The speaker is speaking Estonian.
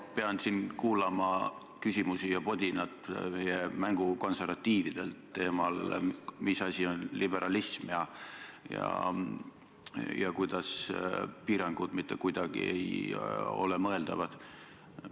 Ma pean siin kuulama küsimusi ja podinat meie mängukonservatiividelt teemal, mis asi on liberalism ja kuidas piirangud mitte kuidagi ei ole mõeldavad.